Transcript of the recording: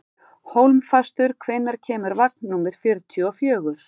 Hólmfastur, hvenær kemur vagn númer fjörutíu og fjögur?